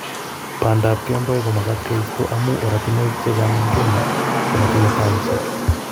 Bandap kemboi komagat keisto amu oratinwek chechang eng Kenya komotinye taisiek